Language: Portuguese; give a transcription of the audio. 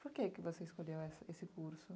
Por que que você escolheu essa esse curso?